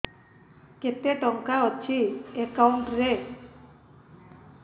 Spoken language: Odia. କେତେ ଟଙ୍କା ଅଛି ଏକାଉଣ୍ଟ୍ ରେ